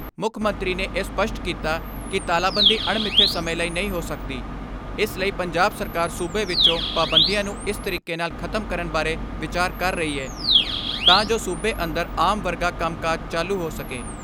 ਮੁੱਖ ਮੰਤਰੀ ਨੇ ਇਹ ਸਪੱਸ਼ਟ ਕੀਤਾ ਕਿ ਤਾਲਾਬੰਦੀ ਅਣਮਿਥੇ ਸਮੇਂ ਲਈ ਨਹੀਂ ਹੋ ਸਕਦੀ, ਇਸ ਲਈ ਪੰਜਾਬ ਸਰਕਾਰ ਸੂਬੇ ਵਿੱਚੋਂ ਪਾਬੰਦੀਆਂ ਨੂੰ ਇਸ ਤਰੀਕੇ ਨਾਲ ਖਤਮ ਕਰਨ ਬਾਰੇ ਵਿਚਾਰ ਕਰ ਰਹੀ ਐ ਤਾਂ ਜੋ ਸੂਬੇ ਅੰਦਰ ਆਮ ਵਰਗਾ ਕੰਮਕਾਜ ਚਾਲੂ ਹੋ ਸਕੇ।